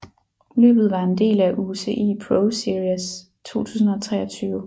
Løbet var en del af UCI ProSeries 2023